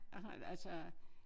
jeg har et altså